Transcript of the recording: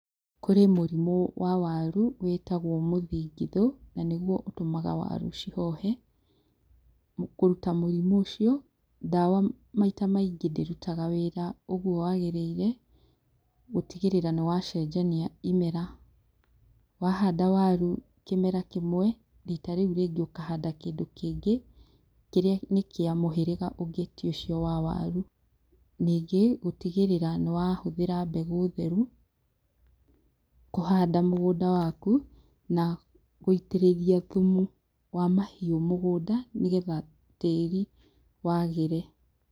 Kũrĩ mũrimũ wa waru wĩtagwo mũthingithũ, na nĩguo ũtũmaga waru cihohe. Kũruta mũrimũ ũcio, dawa maita maingĩ ndĩrutaga wĩra ũguo wagĩrĩire, gũtigĩrĩra nĩ wacenjania imera, wahanda waru kĩmera kĩmwe, rita rĩu rĩngĩ ũkahanda kĩndũ kĩngĩ, kĩrĩa nĩ kĩa mũhĩrĩga ũngĩ ti ũcio wa waru. Ningĩ gũtigĩrĩra nĩ wahũthĩra mbegũ theru, kũhanda mũgũnda waku, na gũitĩrĩria thumu wa mahiũ mũgũnda, nĩgetha tĩri wagĩre.